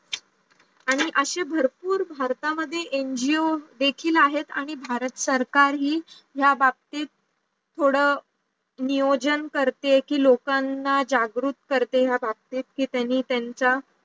आणि अशे भरपूर भारतामध्ये NGO देखील आहेत आणि भारत सरकारही या बाबतीत थोडं नियोजन करते कि लोकांना जागृत करते ह्या बाबतीत कि त्यांनी त्यांचा